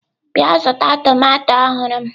Bịa zụta tomato ọhụrụ m!